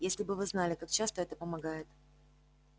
если бы вы знали как часто это помогает